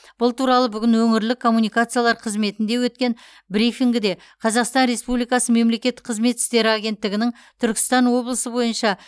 бұл туралы бүгін өңірлік коммуникациялар қызметінде өткен брифингіде қазақстан республикасы мемлекеттік қызмет істері агенттігінің түркістан облысы бойынша